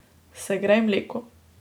Segrej mleko.